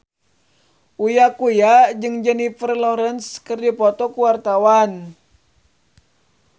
Uya Kuya jeung Jennifer Lawrence keur dipoto ku wartawan